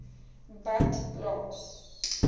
badplaas